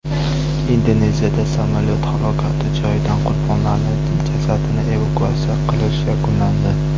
Indoneziyada samolyot halokati joyidan qurbonlarning jasadini evakuatsiya qilish yakunlandi.